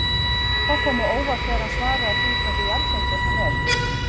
Það kom á óvart þegar hann svaraði því hversu jarðbundinn hann er.